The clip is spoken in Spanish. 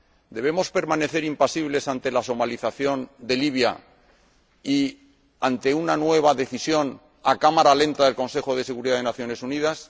¿Debemos permanecer impasibles ante la somalización de Libia y ante una nueva decisión a cámara lenta del Consejo de Seguridad de las Naciones Unidas?